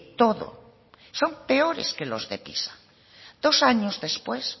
todo son peores que los de pisa dos años después